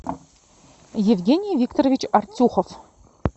евгений викторович артюхов